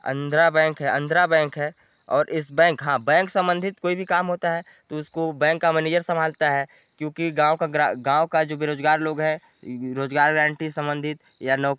आनर्द्रा bank है आनर्द्रा और इस बैक और हाँ बैंक संबधित कोई भी काम होता है तो इसको बैंक का मेनेजर संभालता हैं क्योकि गाँव का गृ क्योंकि गाँव का जो बेरोजगार लोग हैं रोजगार गारंटी संबधित या नौकरी--